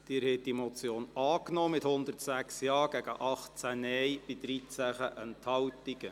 Sie haben diese Motion angenommen, mit 106 Ja- gegen 18 Nein-Stimmen bei 13 Enthaltungen.